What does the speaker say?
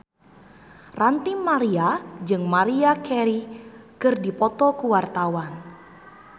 Ranty Maria jeung Maria Carey keur dipoto ku wartawan